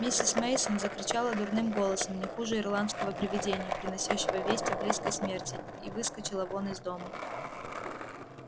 миссис мейсон закричала дурным голосом не хуже ирландского привидения приносящего весть о близкой смерти и выскочила вон из дома